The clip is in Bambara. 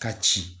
Ka ci